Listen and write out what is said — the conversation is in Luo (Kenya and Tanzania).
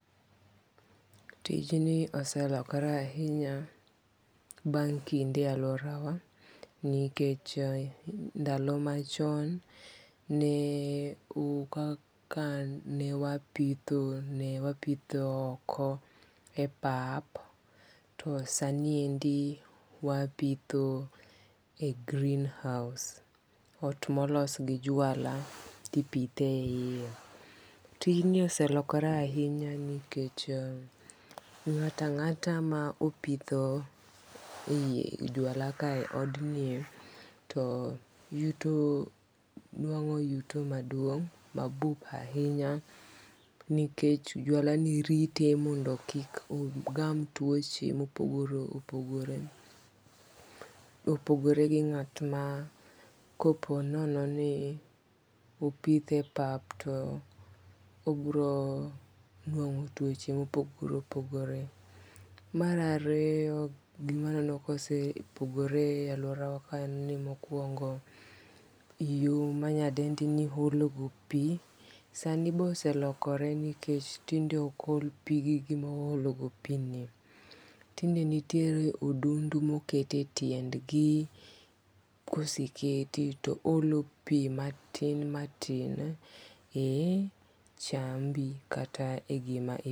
Tijni oselokore ahinya bang' kinde e aluorawa, nikech ndalo machon ne kaka ne wapitho ne wapithoo oko e pap to sani endi wapitho e greenhouse ot molos gi jwala to ipitho e hiye, tijni oselokore ahinya nikech, nga'ta nga'ta ma opitho e yi jwala kae od nie to yuto nwango' yuto maduong' mabup ahinya nikech jwalani rite mondo kik ogam tuoche mopogore opogore, opogore gi nga'tma koponono ni opitho e pap to obronwango tuoche ma opogore opogore. Mar ariyo gima aneno ka osepogore e aluorawa en ni, mokuongo yo manyadendini ologo pi sani be oselokore nikech tinde ok ol pi gi gima ologopi nie, tinde nitiere odundu moketie tiendgi koseketi to oholopi matin matin e chambi kata gima